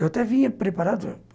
Eu até vinha preparado.